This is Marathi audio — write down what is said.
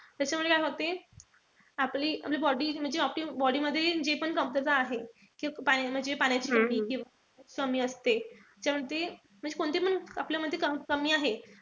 त्याच्यामुळे काय होते? आपली आपली body म्हणजे आपल्या body मध्ये जे पण कमतरता आहे. म्हणजे पाण्याची कमी असते. त्याच्यानंतर म्हणजे अशी कोणती पण आपल्यामध्ये कमी आहे.